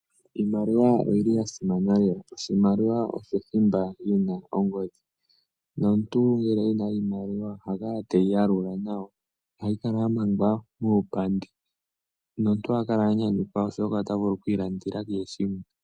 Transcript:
Iimaliwa oyi li ya simana lela. Oshimaliwa osho thimba e na ongodhi, nomuntu ngele e na oshimaliwa oha kala te yi yalula nawa. Oha yi kala ya mangwa muupandi, nomuntu oha kala a nyanyukwa, oshoka ota vulu oku ilandela kehe shimwe.